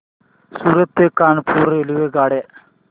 सूरत ते कानपुर रेल्वेगाड्या